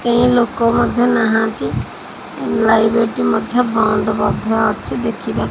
କେହି ଲୋକ ମଧ୍ୟ ନାହାଁନ୍ତି ଲାଇବ୍ରେରୀ ଟି ମଧ୍ୟ ବନ୍ଦ ମଧ୍ୟ ଅଛି ଦେଖିବା--